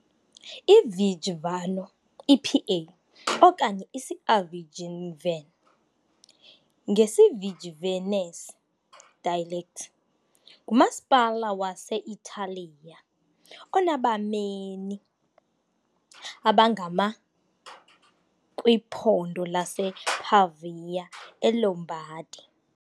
IVigevano, IPA okanye , "isiAvgevan" ngesiVigevanese dialect ngumasipala wase-Italiya onabameni abangama kwiphondo lasePavia eLombardy .